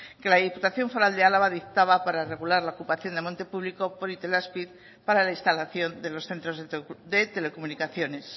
que la diputación foral de álava dictaba para regular la ocupación de monte público por itelazpi para la instalación de los centros de telecomunicaciones